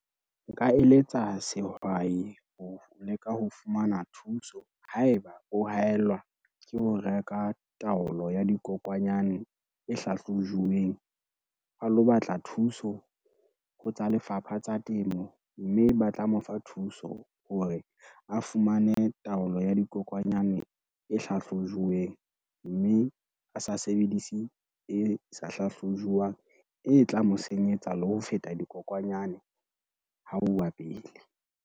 Nka eletsa sehwai ho leka ho fumana thuso haeba o haellwa ke ho reka taolo ya dikokwanyane e hlahlojuweng. A lo batla thuso ho tsa Lefapha tsa Temo, mme ba tla mo fa thuso hore a fumane taolo ya dikokwanyane e hlahlojuweng, mme a sa sebedise e sa hlahlojuwang e tla mo senyetsa le ho feta dikokwanyane ha uwa pele.